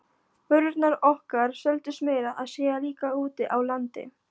Vörurnar okkar seldust meira að segja líka úti á landi.